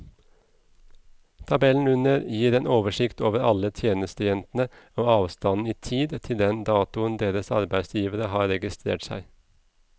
Tabellen under gir en oversikt over alle tjenestejentene og avstanden i tid til den datoen deres arbeidsgivere har registrert seg.